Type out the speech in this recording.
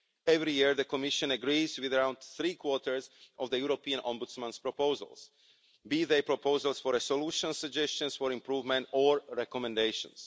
Every year, the Commission agrees with around three quarters of the European Ombudsman's proposals, be they proposals for a solution, suggestions for improvement or recommendations.